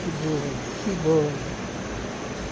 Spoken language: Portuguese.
Que bom, que bom.